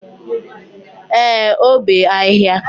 Ee, o bee ahịhịa.